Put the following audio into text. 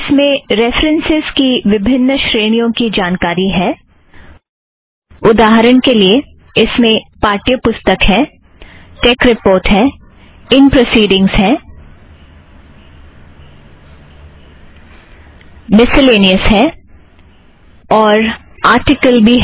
इसमें रेफ़रन्सस् की विभिन्न श्रेणियों की जानकारी है उदाहरण के लिए - इसमें पाठ्यपुस्तक है टेक रिपोर्ट है इन प्रोसिड़ींगस हैं मिसलेनियस है और आर्टिकल भी है